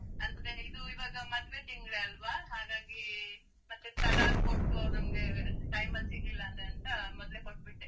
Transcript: ಅಂದ್ರೆ ಇದು, ಇವಗ ಮದ್ವೆ ತಿಂಗ್ಲೇ ಅಲ್ವಾ ಹಾಗಾಗಿ, ಮತ್ತೆ ತಡಾ ಆಗ್ ಕೊಟ್ಟು ಅವ್ರ್ ನಮ್ಗೆ time ಅಲ್ ಸಿಗ್ಲಿಲ್ಲ ಅಂತ್ ಅಂದ್ರೆ ಅಂತ ಮಾಡ್ಲೆ ಕೊಟ್ಬಿಟ್ಟೆ.